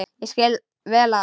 Ég skil vel að hún.